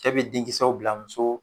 Cɛ be den kisɛw bila muso